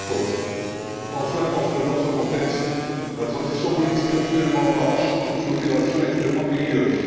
2014. Enfin, parce que dans ce contexte, la transition politique actuellement en marche est une opération extrêmement périlleuse.